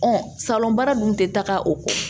salɔnba dun tɛ taaga o kɔ